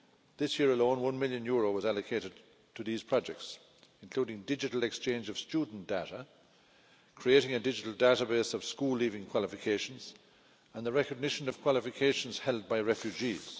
This year alone, EUR 1 million was allocated to these projects, including digital exchange of student data, creating a digital database of school leaving qualifications, and the recognition of qualifications held by refugees.